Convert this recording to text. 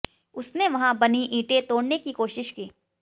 उसने वहां पर बनी ईंटें तोड़ने की कोशिश की